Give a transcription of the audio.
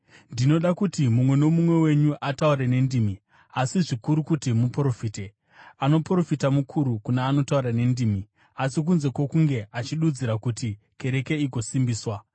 Ndinoda kuti mumwe nomumwe wenyu ataure nendimi, asi zvikuru kuti muprofite. Anoprofita mukuru kuna anotaura nendimi, asi kunze kwokunge achidudzira, kuti kereke igosimbiswa.